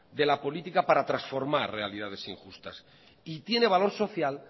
de la política para transformar realidades injustas y tiene valor social